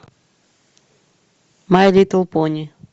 май литл пони